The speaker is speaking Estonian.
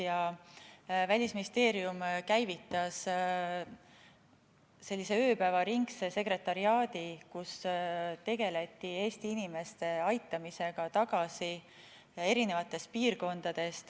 Ja Välisministeerium käivitas sellise ööpäevaringse sekretariaadi, kus tegeleti Eesti inimeste eri piirkondadest tagasi aitamisega.